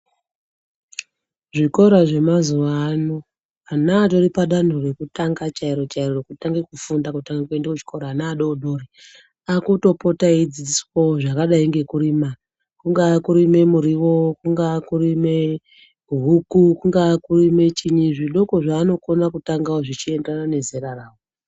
Zvikora zvemazuva ano ana aripadanho rekutanga chairo chairo rekutanga kufunda kutanga kuenda kuchikora ana adodori akutopota eidzidziswawo zvakadai nekurima kungaa kurima muriwo kungaa kurima huku kungaa kurime chii zvidoko zvaanogona kutangawo zveienderana nezera ravo .